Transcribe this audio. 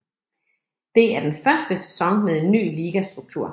Det er den første sæson med en ny ligastruktur